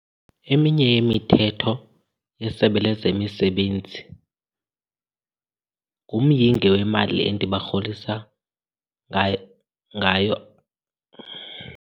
Eminye yemithetho yeSebe lezeMisebenzi ngumyinge wemali endibarholisa ngayo.